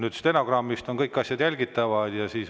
Aga stenogrammist on kõik asjad jälgitavad.